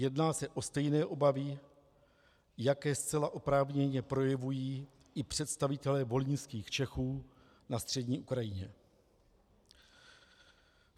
Jedná se o stejné obavy, jaké zcela oprávněně projevují i představitelé volyňských Čechů na střední Ukrajině.